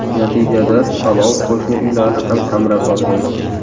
Natijada olov qo‘shni uylarni ham qamrab olgan.